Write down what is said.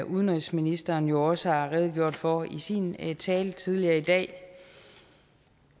udenrigsministeren jo også har redegjort for i sin tale tidligere i dag